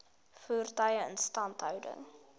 voertuie instandhouding